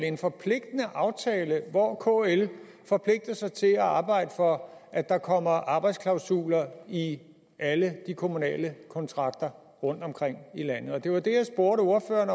en forpligtende aftale hvor kl forpligter sig til at arbejde for at der kommer arbejdsklausuler i alle de kommunale kontrakter rundtomkring i landet det var det jeg spurgte ordføreren